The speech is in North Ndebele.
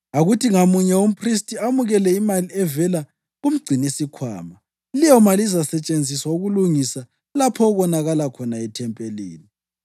Akuthi ngamunye umphristi amukele imali evela kumgcinisikhwama, leyomali izasetshenziswa ukulungisa lapho okonakala khona ethempelini.”